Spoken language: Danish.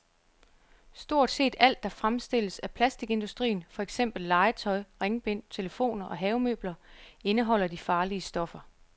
Stort set alt, der fremstilles af plastikindustrien, for eksempel legetøj, ringbind, telefoner og havemøbler, indeholder de farlige stoffer.